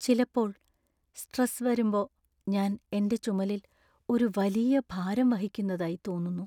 ചിലപ്പോൾ, സ്ട്രെസ് വരുമ്പോ ഞാൻ എന്‍റെ ചുമലിൽ ഒരു വലിയ ഭാരം വഹിക്കുന്നതായി തോന്നുന്നു.